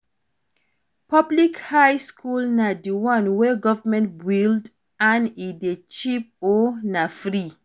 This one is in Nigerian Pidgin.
Public high school na di one wey government build and e de cheap or na free